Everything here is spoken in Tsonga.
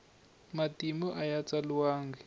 matimu aya tsaliwanga